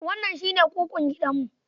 Wannan shi ne kukun gidanmu.